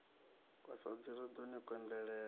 vhasadzi ri ḓo ni konḓelela